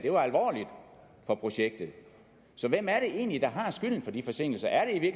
var projektet så hvem er det egentlig der har skylden for de forsinkelser er